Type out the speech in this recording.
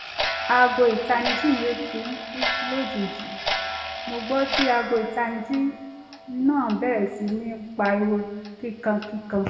aago ìtanijí mi ò tíì kú lójijì mo ń gbọ́ tí aago ìtanijí iná bẹ̀rẹ̀ sí ní pariwo kíkan kíkan